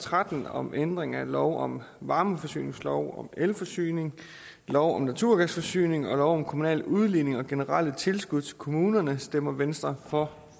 tretten om ændring af lov om varmeforsyning lov om elforsyning lov om naturgasforsyning og lov om kommunal udligning og generelle tilskud til kommuner stemmer venstre for